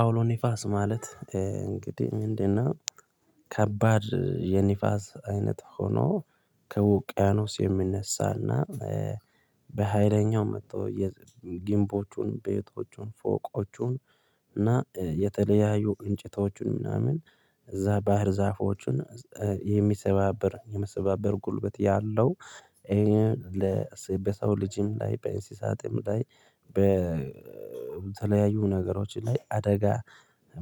አውሎ ነፋስ ማለት እንግዲህ ምንድነው ከባድ የነፋስ አይነት ሆኖ ከውቅያኖስ የሚነሳና በሃይለኛው መጦ ግብዎቹን፣ ቤቶቹን፣ ፎቆቹን እና የተለያዩ እንጨቶቹን ምናምን እዛ ባህር ዛፎችን የሚሰባብር የመሰባበር ጉልበት ያለው ለሰው ልጅም ላይ በእንስሳትም ላይ በተለያዩ ነገሮች ላይ አደጋ